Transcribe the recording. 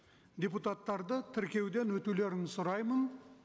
депутаттарды тіркеуден өтулерін сұраймын